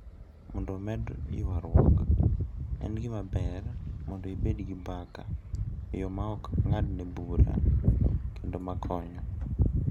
Mondo omed yawruok, en gima ber mondo ibed gi mbaka e yo ma ok ng’adne bura kendo ma konyo.